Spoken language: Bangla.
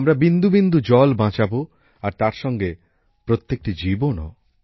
আমরা বিন্দু বিন্দু জল বাঁচাবো আর তার সঙ্গে প্রত্যেকটি জীবনও